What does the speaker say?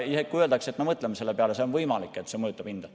Kui öeldakse, et me mõtleme selle peale, siis on võimalik, et see mõjutab hinda.